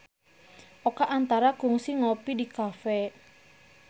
Oka Antara kungsi ngopi di cafe